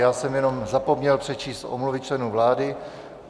Já jsem jenom zapomněl přečíst omluvy členů vlády.